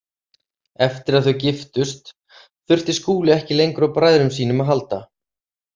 Eftir að þau giftust þurfti Skúli ekki lengur á bræðrum sínum að halda.